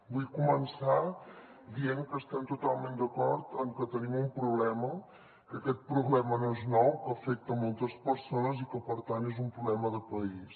vull començar dient que estem totalment d’acord en que tenim un problema que aquest problema no és nou que afecta moltes persones i que per tant és un problema de país